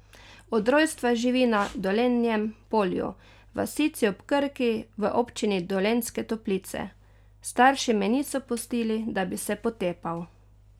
Od rojstva živi na Dolenjem Polju, vasici ob Krki v občini Dolenjske Toplice: 'Starši me niso pustili, da bi se potepal.